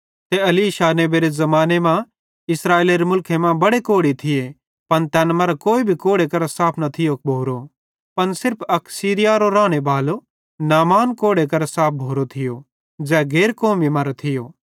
ते एलीशा नेबेरे ज़माने मां इस्राएलेरे मुलखे मां बड़े कोढ़ी थिये पन तैन मरां कोई भी कोढ़े करां साफ न थियो भोरो पन सिर्फ अक सीरियारो रानेबालो नामान कोढ़े करां साफ भोरो थियो ज़ै गैर कौमी मरां थियो